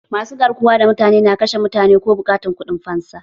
Masu garkuwa da mutane na kashe mutane ko buƙatar kuɗin fansa